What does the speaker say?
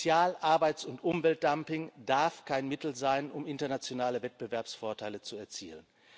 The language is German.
Sozial Arbeits und Umweltdumping darf kein Mittel sein, um internationale Wettbewerbsvorteile zu erzielen.